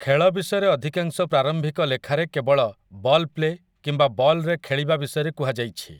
ଖେଳ ବିଷୟରେ ଅଧିକାଂଶ ପ୍ରାରମ୍ଭିକ ଲେଖାରେ କେବଳ 'ବଲ୍ ପ୍ଲେ' କିମ୍ବା 'ବଲ୍‌ରେ ଖେଳିବା' ବିଷୟରେ କୁହାଯାଇଛି ।